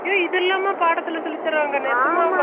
இதுல்லாம படத்துல சொல்லிதறாங்க நெசாமவா